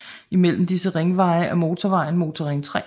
I mellem disse ringveje er motorvejen Motorring 3